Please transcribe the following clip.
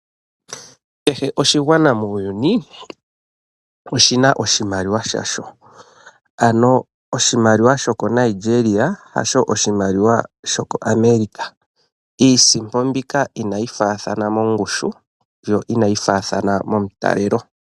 Kehe oshigwana muuyuni oshina oshimaliwa shasho, ano oshimaliwa sho koNigeria hasho oshimaliwa sho koAmerica, Iisimpo mbika inayi faathana mongushu yo inayi faathana momutalelo.